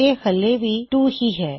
ਇਹ ਹਲੇ ਵੀ 2 ਹੀ ਹੈ